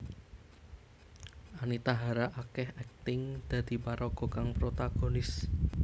Anita Hara akéh akting dadi paraga kang protagonis